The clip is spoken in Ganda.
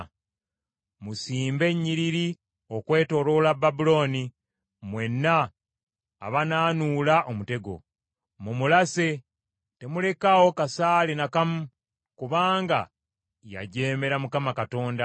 “Musimbe ennyiriri okwetooloola Babulooni, mwenna abanaanuula omutego. Mumulase! Temulekaawo kasaale n’akamu, kubanga yajeemera Mukama Katonda.